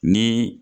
Ni